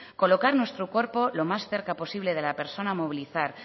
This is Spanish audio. colocar nuestro cuerpo lo más cerca posible de la persona a movilizar